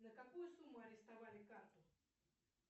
на какую сумму арестовали карту